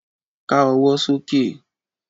Ká ọwọ́ sókè